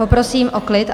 Poprosím o klid!